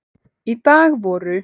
Í dag voru